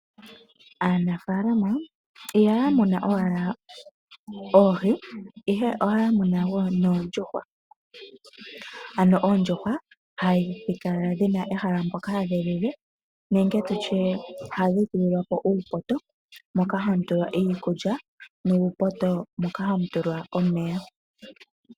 Aanafaalama ihaya muna owala oohi, ihe ohaya muna wo noondjuhwa. Ano oondjuhwa hadhi kala dhi na ehala mpoka hadhi lile nenge tu tye ohadhi tulilwa po uupoto moka hamu tulwa iikulya nuupoto moka hamu tulwa omeya.